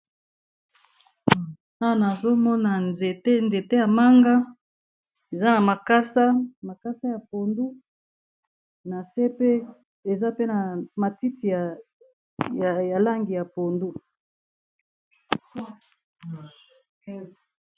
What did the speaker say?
Awa nazonoma nzete yamanga ezanamakasa yapondu nasepe eza na matiti yalangi ya pondu